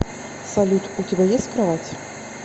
салют у тебя есть кровать